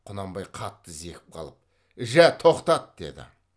құнанбай қатты зекіп қалып жә тоқтат деді